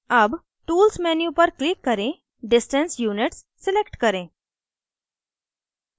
अब tools menu पर click करें distance units select करें